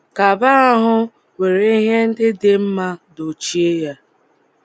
Kaba ahụ were ihe ndị dị mmá dochie yá